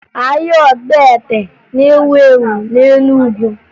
Ahịa ọgbete na-ewu ewu na Enugu